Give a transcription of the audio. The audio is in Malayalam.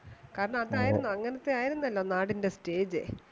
കാരണം അത് ആയിരുന്നു അങ്ങനത്തെ ആയിരുന്നാലോ നാടിന്റെ stage